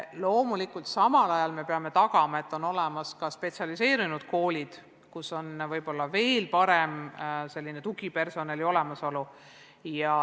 Loomulikult peame samal ajal tagama, et on olemas ka spetsialiseerunud koolid, kus on võib-olla parem tugipersonal.